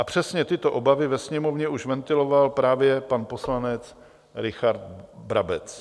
A přesně tyto obavy ve Sněmovně už ventiloval právě pan poslanec Richard Brabec.